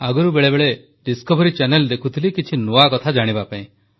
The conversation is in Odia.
ଆଗରୁ ବେଳେବେଳେ ଡିସକଭରି ଚ୍ୟାନେଲ ଦେଖୁଥିଲି କିଛି ନୂଆ କଥା ଜାଣିବା ପାଇଁ